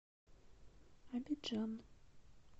абиджан